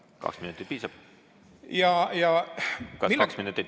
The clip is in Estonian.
Kas kahest minutist piisab?